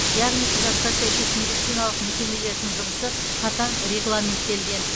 яғни құжатқа сәйкес медициналық мекемелердің жұмысы қатаң регламенттелген